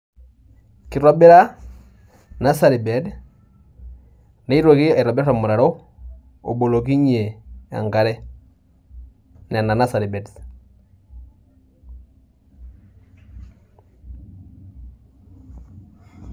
Kitobira nursery bed nitoki aitobir ormutaro obolokinyie enkare, nena nursery beds.